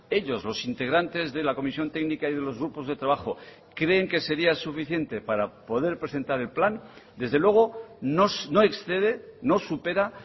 ellos los integrantes de la comisión técnica y de los grupos de trabajo creen que sería suficiente para poder presentar el plan desde luego no excede no supera